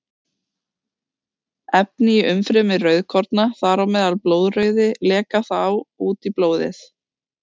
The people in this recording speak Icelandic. Efni í umfrymi rauðkorna, þar á meðal blóðrauði, leka þá út í blóðið.